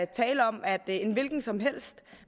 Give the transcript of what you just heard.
tale om at en hvilken som helst